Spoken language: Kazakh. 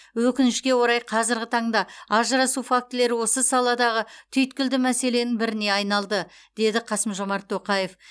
өкінішке орай қазіргі таңда ажырасу фактілері осы саладағы түйткілді мәселенің біріне айналды деді қасым жормат тоқаев